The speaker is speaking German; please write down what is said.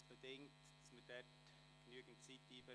Das bedingt, dass wir dafür genügend Zeit anberaumen.